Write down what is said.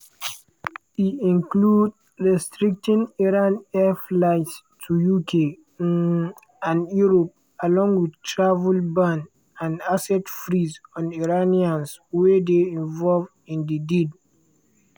e include restricting iran air flights to uk um and europe along wit travel ban and asset freeze on iranians wey dey involved in di deal.